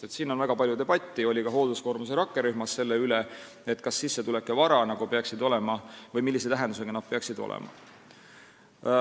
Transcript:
Siin on olnud väga palju debatte, neid oli ka hoolduskoormuse rakkerühmas, selle üle, millise tähendusega peaksid olema sissetulek ja vara.